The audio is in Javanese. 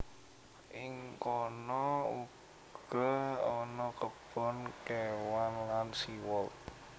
Ing kono uga ana kebon kéwan lan sea world